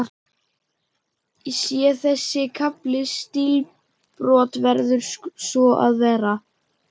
Sé þessi kafli stílbrot, verður svo að vera.